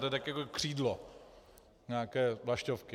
To je tak jako křídlo nějaké vlaštovky.